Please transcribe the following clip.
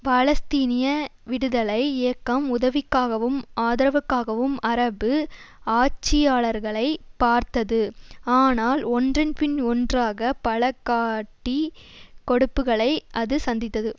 பாலஸ்தீனிய விடுதலை இயக்கம் உதவிக்காகவும் ஆதரவுக்காகவும் அரபு ஆட்சியாளர்களைப் பார்த்தது ஆனால் ஒன்றன் பின் ஒன்றாக பல காட்டிக் கொடுப்புக்களை அது சந்தித்தது